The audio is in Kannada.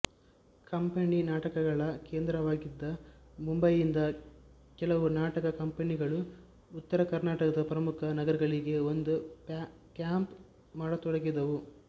ಕಂಪನಿ ನಾಟಕಗಳ ಕೇಂದ್ರವಾಗಿದ್ದ ಮುಂಬಯಿಯಿಂದ ಕೆಲವು ನಾಟಕ ಕಂಪನಿಗಳು ಉತ್ತರ ಕರ್ನಾಟಕದ ಪ್ರಮುಖ ನಗರಗಳಿಗೆ ಬಂದು ಕ್ಯಾಂಪ್ ಮಾಡತೊಡಗಿದವು